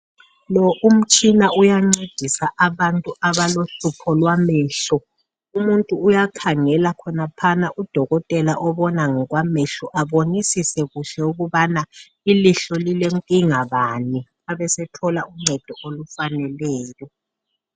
Umtshina uyancedisa umuntu olohlupho lwamehlo , udokotela uyakhangela olohlupho amncedise ukubana ilihlo lilenkinga bani abasemnika uncedo olufaneleyo.